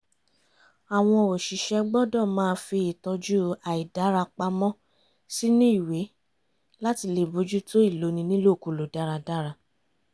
àwọn òṣìṣẹ́ gbọ́dọ̀ máa fi ìtọ́jú àìdára pamọ́ sínú ìwé láti lè bójútó ìloni nílòkulò dáradára